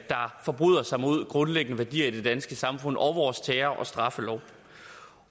forbryder sig mod grundlæggende værdier i det danske samfund og vores terror og straffelov